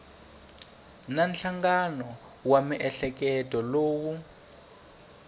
na nhlangano wa miehleketo lowu